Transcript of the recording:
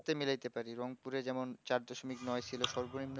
ওতে মিলাতে পারি রংপুরে যেমন চার দশমিক নয় ছিল